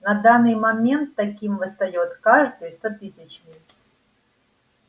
на данный момент таким восстаёт каждый стотысячный